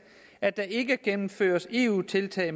at der ikke gennemføres eu tiltag